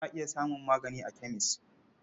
Za a iya samun magani a kemes.